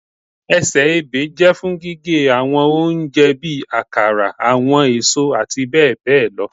Ẹsẹ-ẹbẹ jẹ fun gige awọn ohun ounjẹ bi akara, awọn eso ati bẹbẹ lọ